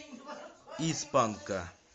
из панка